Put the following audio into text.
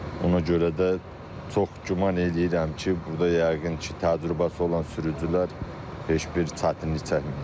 Ona görə də çox güman eləyirəm ki, burda yəqin ki, təcrübəsi olan sürücülər heç bir çətinlik çəkməyəcək.